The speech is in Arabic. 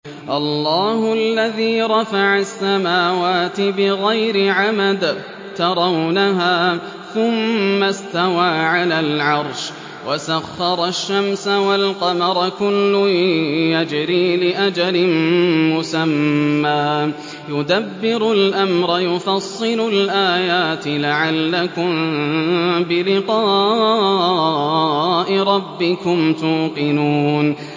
اللَّهُ الَّذِي رَفَعَ السَّمَاوَاتِ بِغَيْرِ عَمَدٍ تَرَوْنَهَا ۖ ثُمَّ اسْتَوَىٰ عَلَى الْعَرْشِ ۖ وَسَخَّرَ الشَّمْسَ وَالْقَمَرَ ۖ كُلٌّ يَجْرِي لِأَجَلٍ مُّسَمًّى ۚ يُدَبِّرُ الْأَمْرَ يُفَصِّلُ الْآيَاتِ لَعَلَّكُم بِلِقَاءِ رَبِّكُمْ تُوقِنُونَ